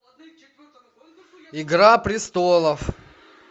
игра престолов